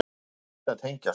Maður hætti að tengjast.